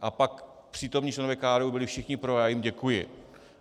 A pak přítomní členové KDU byli všichni pro a já jim děkuji.